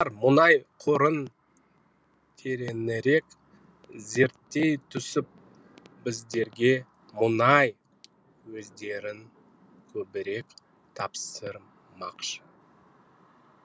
олар мұнай қорын тереңірек зерттей түсіп біздерге мұнай көздерін көбірек тапсырмақшы